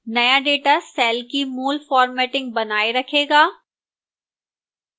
नया data cell की मूल formatting बनाए रखेगा